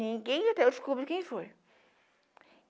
Ninguém até hoje descobriu quem foi.